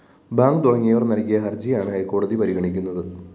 bank തുടങ്ങിയവര്‍ നല്‍കിയ ഹര്‍ജിയാണ് ഹൈക്കോടതി പരിഗണിക്കുന്നത്